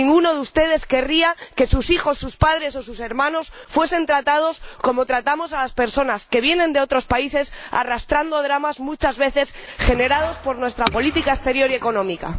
Ninguno de ustedes querría que sus hijos, sus padres o sus hermanos fuesen tratados como tratamos a las personas que vienen de otros países, arrastrando dramas muchas veces generados por nuestra política exterior y económica.